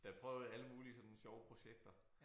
Der prøvede alle mulige sådan sjove projekter